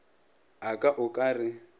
a ka o ka re